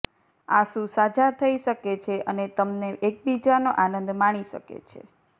આંસુ સાજા થઈ શકે છે અને તમને એકબીજાનો આનંદ માણી શકે છે